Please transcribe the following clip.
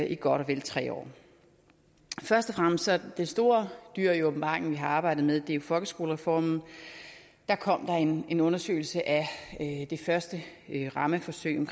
i godt og vel tre år først og fremmest er det store dyr i åbenbaringen vi har arbejdet med folkeskolereformen der kom en undersøgelse af det første rammeforsøg om